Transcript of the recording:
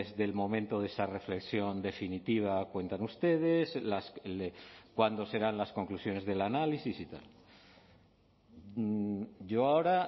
del momento de esa reflexión definitiva cuentan ustedes cuándo serán las conclusiones del análisis y tal yo ahora